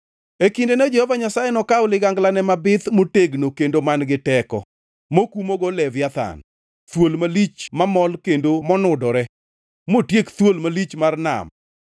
E kindeno, Jehova Nyasaye nokaw liganglane mabith, motegno kendo man-gi teko, mokumgo Leviathan, thuol malich mamol kendo monudore; motiek thuol malich mar nam.